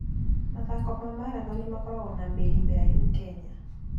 Mathako ma marathoni makoragwo na mĩri mĩraihu Kenya.